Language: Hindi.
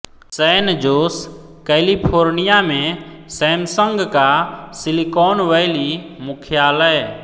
सैन जोस कैलिफ़ोर्निया में सैमसंग का सिलिकॉन वैली मुख्यालय